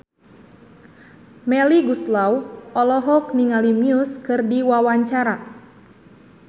Melly Goeslaw olohok ningali Muse keur diwawancara